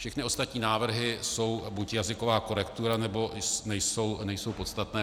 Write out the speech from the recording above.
Všechny ostatní návrhy jsou buď jazyková korektura, nebo nejsou podstatné.